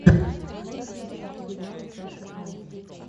можешь включить сериал саши айс